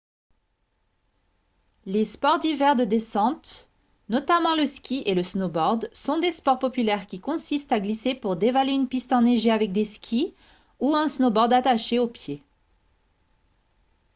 les sports d'hiver de descente notamment le ski et le snowboard sont des sports populaires qui consistent à glisser pour dévaler une piste enneigée avec des skis ou un snowboard attachés aux pieds